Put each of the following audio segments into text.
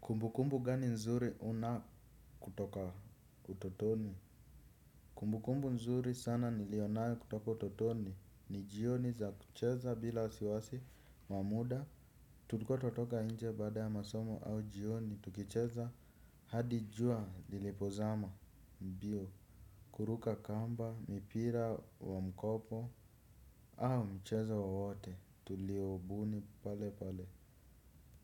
Kumbukumbu gani nzuri una kutoka utotoni? Kumbukumbu nzuri sana nilionayo kutoka utotoni. Nijioni za kucheza bila wasiwasi wamuda. Tulikuatunatoka nje baada ya masomo au jioni. Tukicheza hadi jua lilipozama mbio. Kuruka kamba, mipira wa mkopo au mchezo wowote. Tuliobuni pale pale.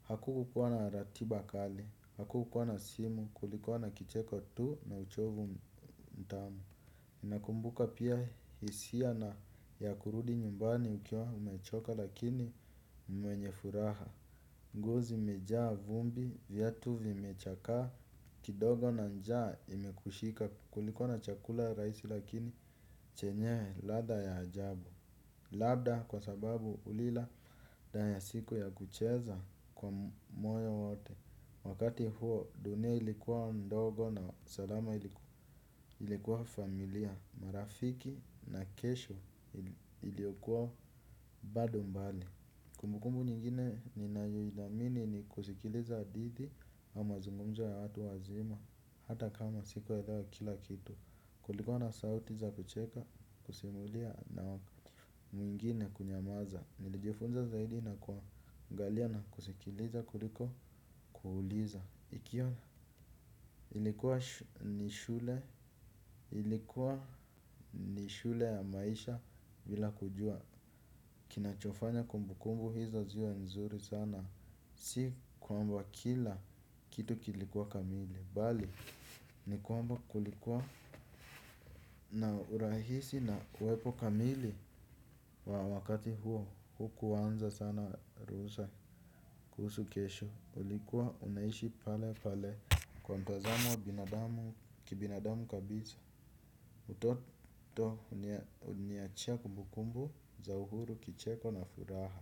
Hakukukuwa na ratiba kali. Hakukuwa na simu kulikuwa na kicheko tu na uchovu mtamu nakumbuka pia hisia na ya kurudi nyumbani ukiwa umechoka lakini mwenye furaha. Ngozi imejaa vumbi viatu vimechakaa kidogo na njaa imekushika kulikuwana chakula rahisi lakini chenye ladha ya ajabu. Labda kwa sababu ulila danya siku ya kucheza kwa moyo wote. Wakati huo, dunia ilikuwa ndogo na salama ilikuwa familia, marafiki na kesho iliyokuwa bado mbali. Kumbukumbu nyingine ni nayo ithamini ni kusikiliza hadithi au mazungumzo ya watu wazima, hata kama sikuelewa kila kitu. Kulikuwa na sauti za kucheka, kusimulia na mwingine kunyamaza. Nilijifunza zaidi na kuangalia na kusikiliza kuliko kuuliza nikiona ilikuwa ni shule ilikuwa ni shule ya maisha bila kujua. Kinachofanya kumbukumbu hizo ziwe nzuri sana. Si kwamba kila kitu kilikuwa kamili. Bali ni kwamba kulikuwa na urahisi na kuwepo kamili wa wakati huo hukuanza sana ruhusa kuhusu kesho ulikuwa umeishi pale pale. Kwa mtazamo wa binadamu kibinadamu kabisa utoto huniachia kumbukumbu za uhuru kicheko na furaha.